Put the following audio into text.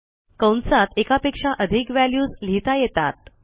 कंसात एकापेक्षा अधिक व्हॅल्यूज लिहिता येतात